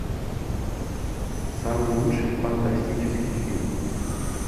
самый лучший фантастический фильм